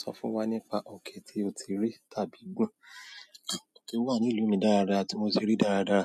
Sọ fún wa nípa òkè tí o ti rí tàbí gùn. Òkè wà ní ìlú mi dáradára tí mo ti rí dáradára.